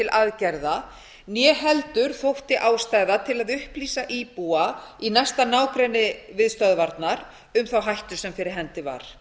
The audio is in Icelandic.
aðgerða né heldur þótti ástæða til að upplýsa íbúa í næsta nágrenni við stöðvarnar um þá hættu sem fyrir hendi var